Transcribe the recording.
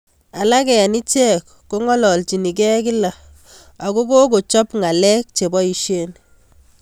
Alak eng ichek kongololichin ke kila akokochop ngalek cheboisie.